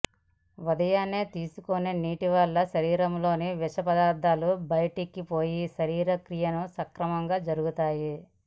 ఉదయాన్నే తీసుకునే నీటివల్ల శరీరంలోని విషపదార్థాలు బైటికిపోయి శరీరక్రియలు సక్రమంగా జరుగుతాయి